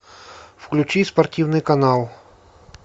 включи спортивный канал